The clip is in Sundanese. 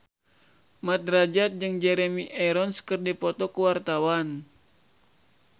Mat Drajat jeung Jeremy Irons keur dipoto ku wartawan